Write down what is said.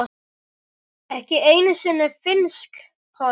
ekki einu sinni finnsk horn.